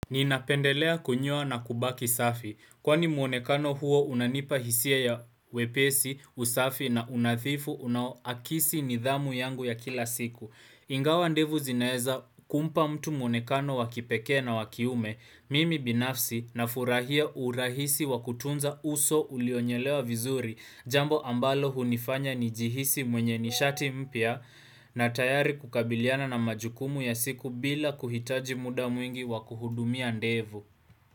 Ninapendelea kunyoa na kubaki safi, kwani muonekano huo unanipa hisia ya wepesi, usafi na unadhifu unaoakisi nidhamu yangu ya kila siku. Ingawa ndevu zinaeza kumpa mtu mwonekano wa kipekee na wa kiume, mimi binafsi nafurahia urahisi wa kutunza uso ulionyelewa vizuri jambo ambalo hunifanya nijihisi mwenye nishati mpya na tayari kukabiliana na majukumu ya siku bila kuhitaji muda mwingi wakuhudumia ndevu.